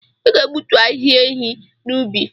Ị ga-egbutu ahịhịa enyí n'ubi!